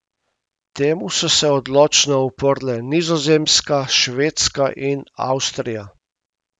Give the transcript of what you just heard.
Temu so se odločno uprle Nizozemska, Švedska in Avstrija.